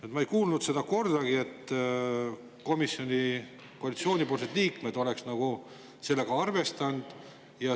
Aga ma ei kuulnud kordagi seda, et koalitsioonis olevad komisjoni liikmed oleks sellega arvestanud.